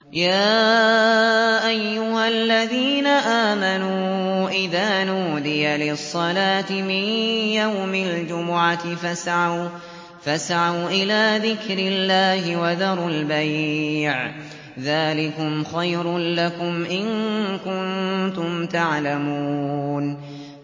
يَا أَيُّهَا الَّذِينَ آمَنُوا إِذَا نُودِيَ لِلصَّلَاةِ مِن يَوْمِ الْجُمُعَةِ فَاسْعَوْا إِلَىٰ ذِكْرِ اللَّهِ وَذَرُوا الْبَيْعَ ۚ ذَٰلِكُمْ خَيْرٌ لَّكُمْ إِن كُنتُمْ تَعْلَمُونَ